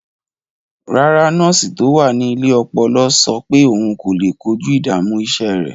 Rárá, nọ́ọ̀sì tó wà ní ilé ọpọlọ sọ pé òun kò lè kojú ìdààmú iṣẹ́ rẹ̀.